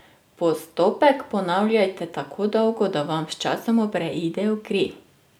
Postopek ponavljajte tako dolgo, da vam sčasoma preide v kri.